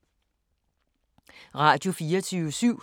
Radio24syv